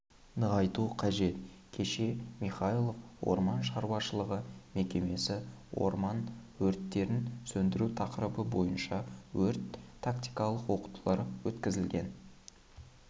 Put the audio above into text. нығайту қажет кеше михайлов орман шаруашылығы мекемесі орман өрттерін сөндіру тақырыбы бойынша өрт-тактикалық оқытулар өткізілген